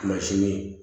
Mansin